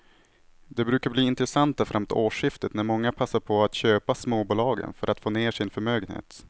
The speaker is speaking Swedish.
De brukar bli intressanta framåt årsskiftet när många passar på att köpa småbolagen för att få ner sin förmögenhet.